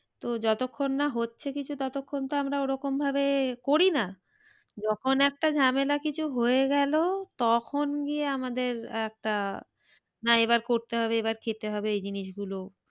তো যতক্ষণ না হচ্ছে কিছু ততক্ষন তো আমরা ওরকম ভাবে করি না। যখন একটা ঝামেলা কিছু হয়ে গেলো তখন গিয়ে আমাদের একটা না এবার করতে হবে এবার খেতে হবে এই জিনিস গুলো